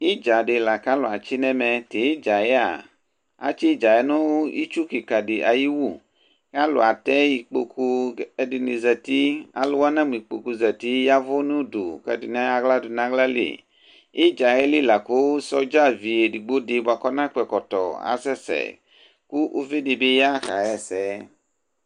itdza di la kʋ alʋ atsi nʋ ɛmɛ, tʋ itdzaɛ atsi itdzaɛ nʋ itsʋ kikaa di ayi iwʋ kʋ alʋ atɛ ikpɔkʋ kʋ ɛdini zati, alʋ wa namʋ ikpɔkʋ zati yavʋ nʋ ʋdʋ kʋ ɛdini ɛya ala dʋnʋ alali? itdzaɛli lakʋ soldier vi ɛdigbɔ di bʋa kʋ ɔna dʋ ɛkɔtɔ asɛsɛ kʋ ʋvi dibi ya kayɛsɛ